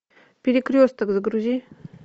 перекресток загрузи